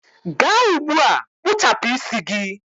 gaa ugbua kpụchapụ isi gị!.